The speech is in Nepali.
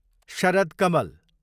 शरद कमल